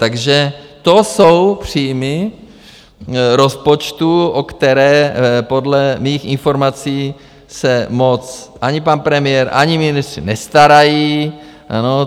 Takže to jsou příjmy rozpočtu, o které podle mých informací se moc ani pan premiér, ani ministři nestarají.